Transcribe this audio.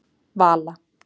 Vala